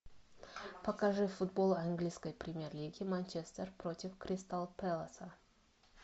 покажи футбол английской премьер лиги манчестер против кристал пэласа